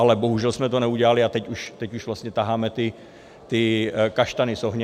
Ale bohužel jsme to neudělali a teď už vlastně taháme ty kaštany z ohně.